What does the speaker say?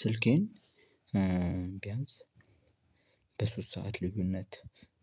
ስልኬን ቢያንስ በሶስት ሰዓት ልዩነት